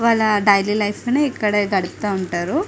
వాళ్ళ daily life ని ఇక్కడ గడుపుతా ఉంటారు.